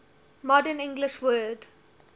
modern english word